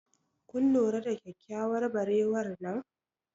kun lura da kyakkyawar barewar nan?